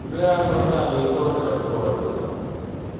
бля братан не только сольно